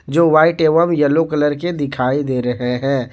जो वाइट एवं yellow colour के दिखाई दे रहे हैं।